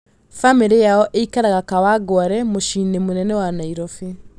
Bamĩrĩ yao ĩikaraga Kawangware mũciĩinĩ mũnene wa Nairobi